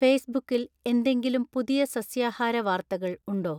ഫേസ്ബുക്കിൽ എന്തെങ്കിലും പുതിയ സസ്യാഹാര വാർത്തകൾ ഉണ്ടോ